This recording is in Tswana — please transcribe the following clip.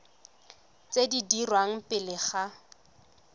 tse di dirwang pele ga